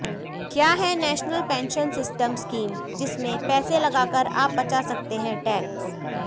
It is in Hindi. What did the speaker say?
क्या है नेशनल पेंशन सिस्टम स्कीम जिसमें पैसे लगाकर आप बचा सकते हैं टैक्स